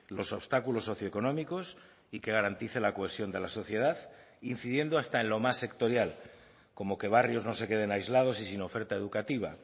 los obstáculos socioeconómicos y que garantice la cohesión de la sociedad incidiendo hasta en lo más sectorial como que barrios no se queden aislados y sin oferta educativa